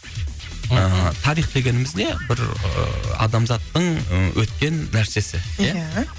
ыыы тарих дегеніміз не бір ы адамзаттың і өткен нәрсесі ия ия